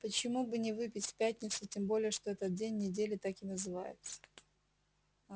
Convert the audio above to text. почему бы не выпить в тяпницу тем более что этот день недели так и называется аа